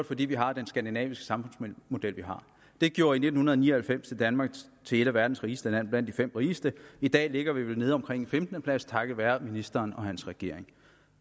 fordi vi har den skandinaviske samfundsmodel vi har det gjorde i nitten ni og halvfems danmark til et af verdens rigeste lande blandt de fem rigeste i dag ligger vi vel nede omkring en femtende plads takket være ministeren og hans regering